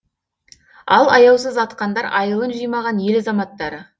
ал аяусыз атқандар айылын жимаған ел азаматтары